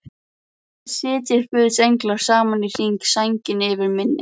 Sitji guðs englar saman í hring, sænginni yfir minni.